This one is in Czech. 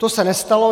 To se nestalo.